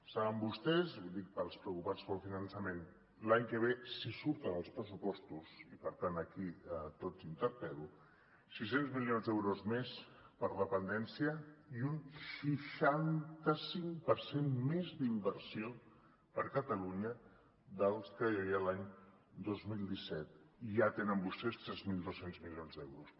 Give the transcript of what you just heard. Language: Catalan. saben vostès ho dic pels preocupats pel finançament que l’any que ve si surten els pressupostos i per tant aquí a tots interpel·lo sis cents milions d’euros més per a dependència i un seixanta cinc per cent més d’inversió per a catalunya dels que hi havia l’any dos mil disset i ja tenen vostès tres mil dos cents milions d’euros